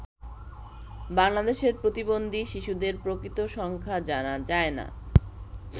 বাংলাদেশে প্রতিবন্ধী শিশুদের প্রকৃত সংখ্যা জানা যায় না।